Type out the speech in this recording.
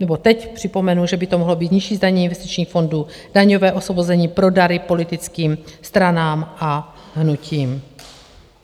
Nebo teď připomenu, že by to mohlo být nižší zdanění investičních fondů, daňové osvobození pro dary politickým stranám a hnutím.